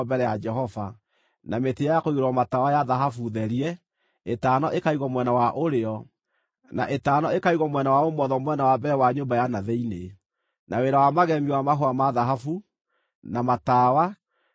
na mĩtĩ ya kũigĩrĩrwo matawa ya thahabu therie (ĩtano ĩkaigwo mwena wa ũrĩo, na ĩtano ĩkaigwo mwena wa ũmotho, mwena wa mbere wa nyũmba ya na thĩinĩ); na wĩra wa magemio wa mahũa ma thahabu, na matawa, na mĩĩhato;